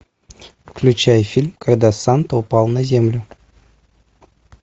включай фильм когда санта упал на землю